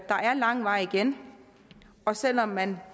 er lang vej igen og selv om man